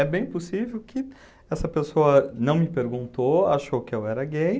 É bem possível que essa pessoa não me perguntou, achou que eu era gay.